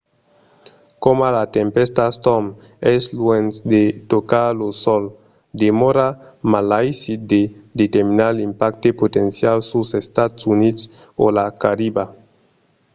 coma la tempèsta storm es luènh de tocar lo sòl demòra malaisit de determinar l’impacte potencial suls estats units o la cariba